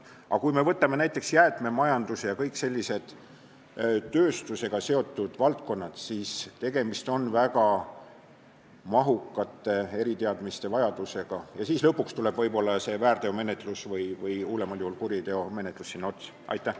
Aga võtame näiteks jäätmemajanduse ja kõik sellised tööstusega seotud valdkonnad, seal on vaja väga mahukaid eriteadmisi ja lõpuks tuleb väärteomenetlus või hullemal juhul kuriteomenetlus sinna otsa.